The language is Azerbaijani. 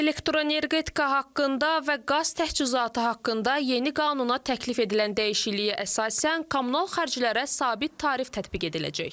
Elektrenergika haqqında və qaz təchizatı haqqında yeni qanuna təklif edilən dəyişikliyə əsasən kommunal xərclərə sabit tarif tətbiq ediləcək.